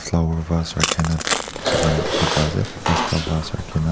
dangor first rakhi na thaka lah dikhi pai ase panch tah first rakhi na.